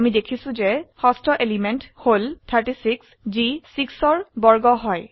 আমি দেখিছো যে ষষ্ঠ এলিমেন্ট হল 36 যি 6 ৰ বৰ্গ হয়